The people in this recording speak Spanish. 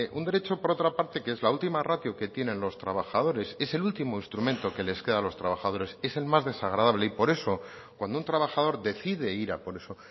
un derecho por otra parte que es la última ratio que tienen los trabajadores es el último instrumento que les queda a los trabajadores es el más desagradable y por eso cuando un trabajador decide ir a por eso